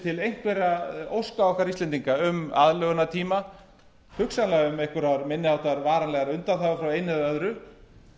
ætla einhverra óska okkar íslendinga um aðlögunartíma sennilega um einhverjar minni háttar varanlegar undanþágur frá einu eða öðru